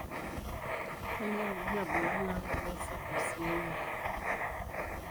Kainyio irbulabul onaapuku eSarcosinemia?